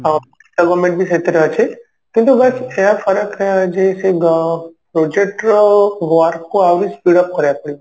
ଆଉ ବି ସେଥିରେ ଅଛି କିନ୍ତୁ ବାସ୍ ଏଇଆ ଫରକ ଯେ ସେ ଅ project ର work କୁ ଆହୁରି speed up କରିବାକୁ ପଡିବ